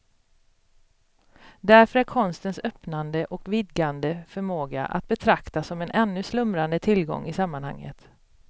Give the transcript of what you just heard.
Därför är konstens öppnande och vidgande förmåga att betrakta som en ännu slumrande tillgång i sammanhanget.